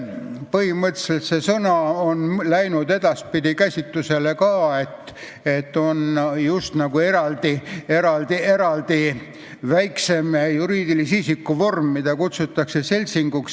Põhimõtteliselt on see sõna läinud edaspidi kasutusele nii, et on just nagu eraldi väiksem juriidilise isiku vorm, mida kutsutakse seltsinguks.